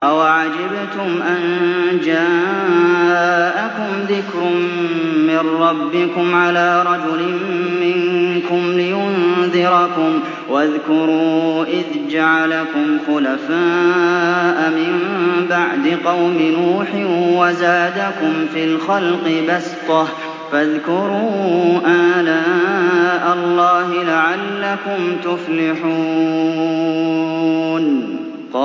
أَوَعَجِبْتُمْ أَن جَاءَكُمْ ذِكْرٌ مِّن رَّبِّكُمْ عَلَىٰ رَجُلٍ مِّنكُمْ لِيُنذِرَكُمْ ۚ وَاذْكُرُوا إِذْ جَعَلَكُمْ خُلَفَاءَ مِن بَعْدِ قَوْمِ نُوحٍ وَزَادَكُمْ فِي الْخَلْقِ بَسْطَةً ۖ فَاذْكُرُوا آلَاءَ اللَّهِ لَعَلَّكُمْ تُفْلِحُونَ